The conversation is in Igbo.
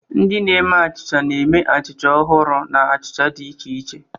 Ndị na-eme achịcha na-eme achịcha ọhụrụ na achịcha dị iche iche.